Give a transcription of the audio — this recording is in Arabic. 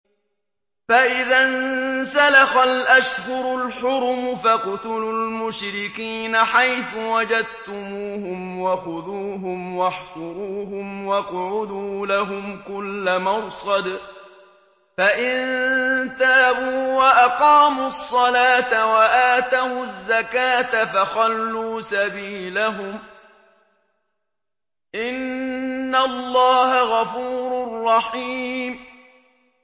فَإِذَا انسَلَخَ الْأَشْهُرُ الْحُرُمُ فَاقْتُلُوا الْمُشْرِكِينَ حَيْثُ وَجَدتُّمُوهُمْ وَخُذُوهُمْ وَاحْصُرُوهُمْ وَاقْعُدُوا لَهُمْ كُلَّ مَرْصَدٍ ۚ فَإِن تَابُوا وَأَقَامُوا الصَّلَاةَ وَآتَوُا الزَّكَاةَ فَخَلُّوا سَبِيلَهُمْ ۚ إِنَّ اللَّهَ غَفُورٌ رَّحِيمٌ